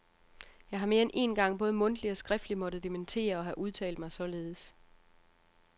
Jeg har mere end én gang både mundtligt og skriftligt måtte dementere at have udtalt mig således.